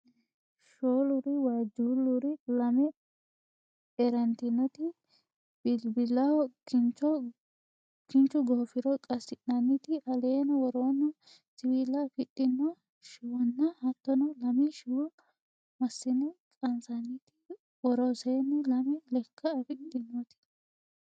Shooluri waajjuulluri lame erantinoti bilbilaho kinchu goofiro qasi'nanniti aleno woronni siwiila afidhino shiwonna hattono lame shiwo massine qansannit woroseenni lame lekka afidhinoti